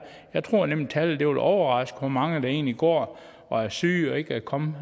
jeg tror nemlig tallet vil overraske hvor mange der egentlig går og er syge og ikke er kommet